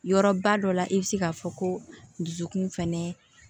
Yɔrɔba dɔ la i bɛ se k'a fɔ ko dusukun fɛnɛ